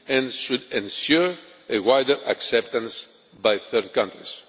This should ensure a wider acceptance by third countries.